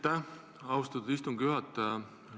Aitäh, austatud istungi juhataja!